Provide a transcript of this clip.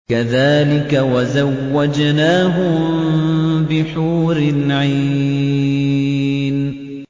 كَذَٰلِكَ وَزَوَّجْنَاهُم بِحُورٍ عِينٍ